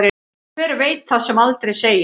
Hver veit það sem aldrei segist.